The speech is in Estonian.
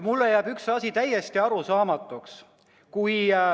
Mulle jääb üks asi täiesti arusaamatuks.